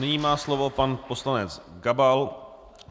Nyní má slovo pan poslanec Gabal.